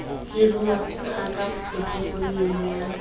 hiruwa ha ka potefoliong ya